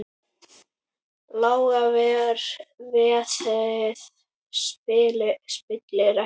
Lága verðið spillir ekki fyrir.